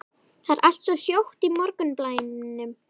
Það er allt svo hljótt í morgunblænum.